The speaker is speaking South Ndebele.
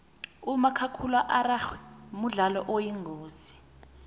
umakhakhulararhwe mdlalo oyingozi